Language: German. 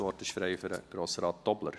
Das Wort ist frei für Grossrat Tobler.